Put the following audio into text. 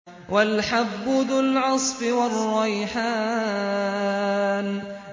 وَالْحَبُّ ذُو الْعَصْفِ وَالرَّيْحَانُ